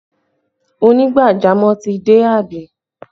Onigbajamọ̀ ti dé àbí?